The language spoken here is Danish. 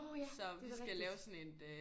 Nå ja det er da rigtigt